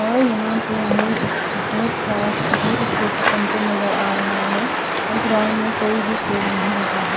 और यहां पे हमें एक बहुत सारा से बहुत अच्छे से सनसेट नजर आ रहा है और ग्राउंड में कोई भी खेल नहीं रहा है।